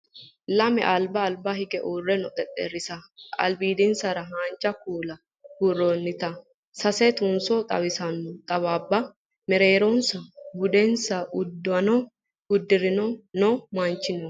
Lame Alba Alba higge uurre noo xexxerrisa albiidisera haanja kuula buurroonnita sase tunso xawisanno xawaabba mereeronsa budinsa uddano uddire noo manchi no